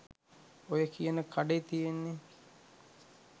ඔය කියන කඩේ තියෙන්නේ